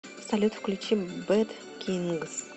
салют включи бэд кингс